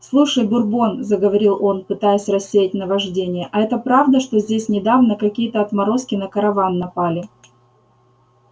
слушай бурбон заговорил он пытаясь рассеять наваждение а это правда что здесь недавно какие-то отморозки на караван напали